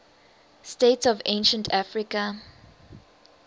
states of ancient africa